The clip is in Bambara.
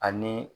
Ani